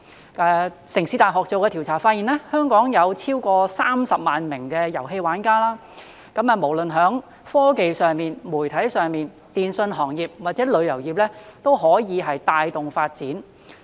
香港城市大學做的調查發現，香港有超過30萬名遊戲玩家，無論在科技、媒體、電訊行業或旅遊業，都可以帶動發展。